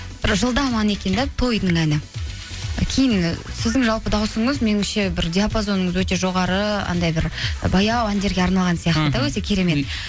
бір жылдам ән екен де тойдың әні кейін і сіздің жалпы дауысыңыз меніңше бір диапазоныңыз өте жоғары анандай бір баяу әндерге арналған сияқты да өте керемет